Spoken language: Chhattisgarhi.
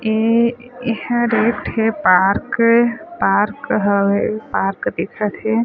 ए ए हर एक ठे पार्क पार्क हवे पार्क दिखत हे।